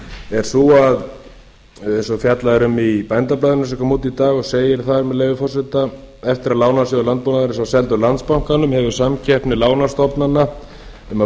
er sú að eins og fjallað er um í bændablaðinu sem kom út í dag og segir þar með leyfi forseta eftir að lánasjóður landbúnaðarins var seldur landsbankanum hefur samkeppni lánastofnana um að